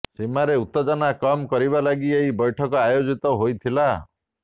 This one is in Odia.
ସୀମାରେ ଉତ୍ତେଜନା କମ୍ କରିବା ଲାଗି ଏହି ବୈଠକ ଆୟୋଜିତ ହୋଇଥିଲା